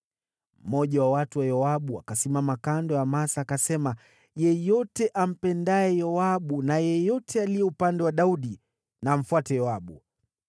Mmoja wa watu wa Yoabu akasimama kando ya Amasa, akasema, “Yeyote ampendaye Yoabu na yeyote aliye upande wa Daudi, na amfuate Yoabu!”